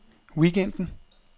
weekenden